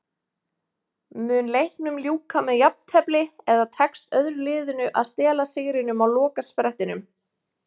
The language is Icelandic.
Mun leiknum ljúka með jafntefli eða tekst öðru liðinu að stela sigrinum á lokasprettinum?